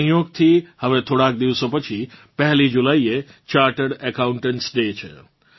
સંયોગથી હવે થોડાંક દિવસો પછી 1 જુલાઇએ ચાર્ટર્ડ એકાઉન્ટન્ટ્સ ડે છે